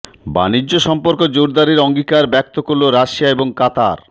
বাণিজ্য সম্পর্ক জোরদারে অঙ্গীকার ব্যক্ত করল রাশিয়া এবং কাতার